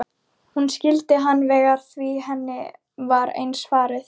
Hún skildi hann vel því henni var eins farið.